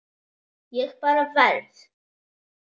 Ég bara verð.